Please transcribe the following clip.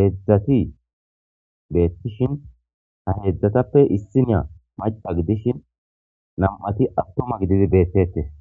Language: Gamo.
heedzdzati beettishin ha heedzdzatappe issiniya maca gidishin nam'ati attuma gididi beettetes